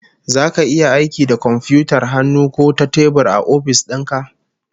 Zaka yi aiki da komfiyutar hannu ko ta tebur a ofis din ka?